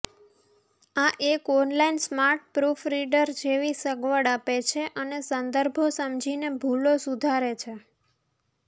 આ એક online smart proofreader જેવી સગવડ આપે છે અને સંદર્ભો સમજીને ભૂલો સુધારે છે